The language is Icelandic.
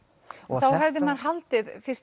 þá hefði maður haldið fyrst